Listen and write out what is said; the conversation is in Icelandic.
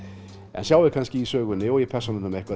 en sjái kannski í sögunni og í persónunum eitthvað